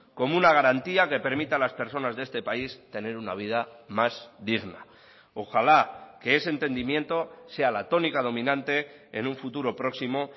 como una garantía que permita a las personas de este país tener una vida más digna ojalá que ese entendimiento sea la tónica dominante en un futuro próximo